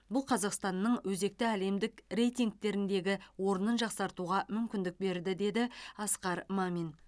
бұл қазақстанның өзекті әлемдік рейтингтердегі орнын жақсартуға мүмкіндік берді деді мамин